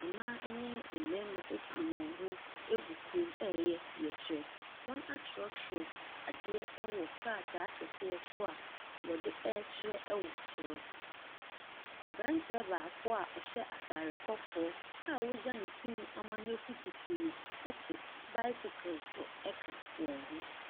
Mmaa ne mmarima atu wɔn ho agu kurom ɛreyɛ yɛkyerɛ, wɔatwerɛtwerɛ adeɛ wɔ krataa kɛseɛ so a wɔde ɛrekyerɛ wɔ soro. Aberanteɛ baako a ɔhyɛ ataade kɔkɔɔ a wagya ne ti ma nafu kusuu te bicycle so a ɔka wɔn ho.